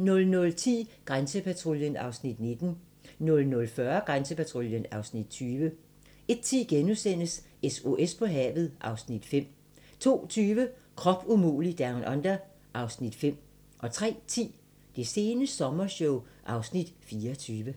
00:10: Grænsepatruljen (Afs. 19) 00:40: Grænsepatruljen (Afs. 20) 01:10: SOS på havet (Afs. 5)* 02:20: Krop umulig Down Under (Afs. 5) 03:10: Det sene sommershow (Afs. 24)